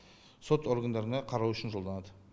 сот органдарына қарау үшін жолданады